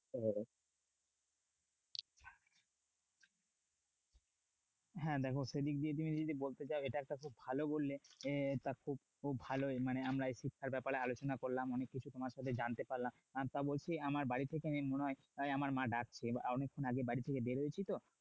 হ্যাঁ দেখো সেদিক দিয়ে তুমি যদি বলতে চাও এটা একটা খুব ভালো বললে। তা খুব খুব ভালো মানে আমরা এই শিক্ষার ব্যাপারে আলোচনা করলাম। অনেককিছু তোমার থেকে জানতে পারলাম। তা বলছি আমার বাড়ি থেকে মনে হয় আমার মা ডাকছে। অনেক্ষন আগে বাড়ি থেকে বের হয়েছি তো?